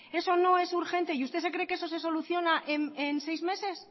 eso no es urgente y usted cree que eso se soluciona en seis meses